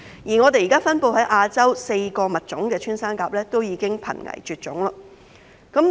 現時分布在亞洲的4個穿山甲物種，均已瀕危絕種。